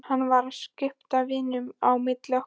Hann var að skipta víninu á milli okkar!